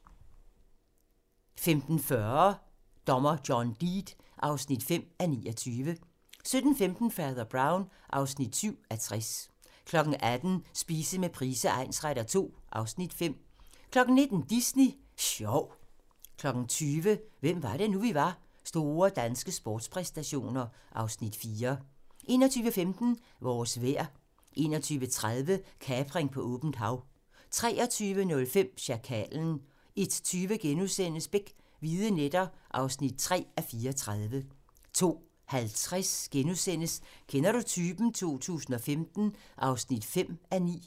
15:40: Dommer John Deed (5:29) 17:15: Fader Brown (7:60) 18:00: Spise med Price egnsretter II (Afs. 5) 19:00: Disney Sjov 20:00: Hvem var det nu, vi var: Store danske sportspræstationer (Afs. 4) 21:15: Vores vejr 21:30: Kapring på åbent hav 23:05: Sjakalen 01:20: Beck: Hvide nætter (3:34)* 02:50: Kender du typen? 2015 (5:9)*